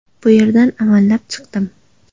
Bu yerdan amallab chiqdim.